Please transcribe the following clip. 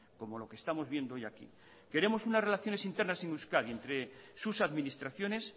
como lo que estamos viendo hoy aquí queremos una relaciones internas en euskadi entre sus administraciones